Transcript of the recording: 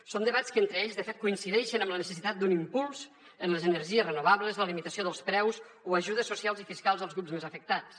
són debats que entre ells de fet coincideixen amb la necessitat d’un impuls en les energies renovables la limitació dels preus o ajudes socials i fiscals als grups més afectats